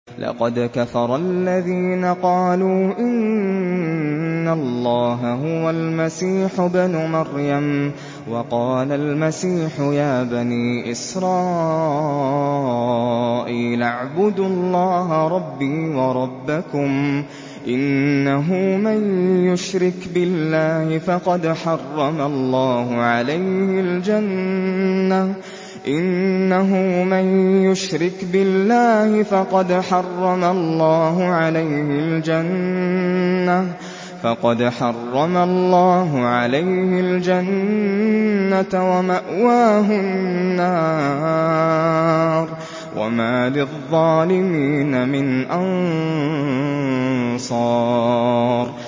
لَقَدْ كَفَرَ الَّذِينَ قَالُوا إِنَّ اللَّهَ هُوَ الْمَسِيحُ ابْنُ مَرْيَمَ ۖ وَقَالَ الْمَسِيحُ يَا بَنِي إِسْرَائِيلَ اعْبُدُوا اللَّهَ رَبِّي وَرَبَّكُمْ ۖ إِنَّهُ مَن يُشْرِكْ بِاللَّهِ فَقَدْ حَرَّمَ اللَّهُ عَلَيْهِ الْجَنَّةَ وَمَأْوَاهُ النَّارُ ۖ وَمَا لِلظَّالِمِينَ مِنْ أَنصَارٍ